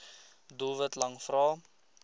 doelwit lang vrae